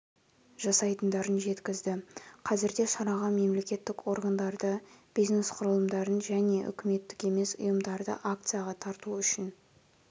жасайтындарын жеткізді қазірде шараға мемлекеттік органдарды бизнес құрылымдарын және үкіметтік емес ұйымдарды акцияға тарту үшін